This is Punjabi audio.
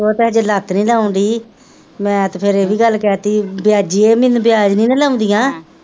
ਓਹ ਤਾਂ ਅਜੇ ਹੱਥ ਨੀ ਲਾਉਂਦੀ ਮੈ ਤੇ ਫੇਰ ਇਹ ਵੀ ਗੱਲ ਕਹਿਤੀ ਬਿਆਜੀ ਇਹ ਮੀਨੂੰ ਬਿਆਜ ਨੀ ਨਾਂ ਲਾਉਂਦਿਆ,